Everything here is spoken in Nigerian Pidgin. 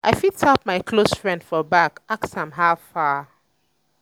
um i fit tap um my close friend um for back ask am how far.